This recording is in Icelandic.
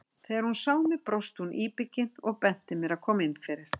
Þegar hún sá mig brosti hún íbyggin og benti mér að koma inn fyrir.